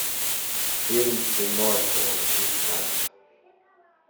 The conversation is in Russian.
фильм пиноккио искать